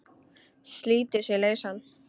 Slítur sig lausan.